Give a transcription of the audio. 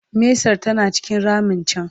mesar tana cikin ramin can